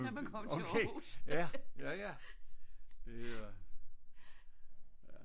Okay ja ja ja